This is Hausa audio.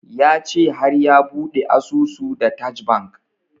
Ya ce har ya bude asusun da taj bank